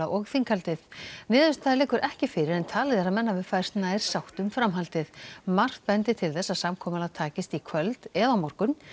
og þinghaldið niðurstaða liggur ekki fyrir en talið er að menn hafi færst nær sátt um framhaldið margt bendi til þess að samkomulag takist í kvöld eða á morgun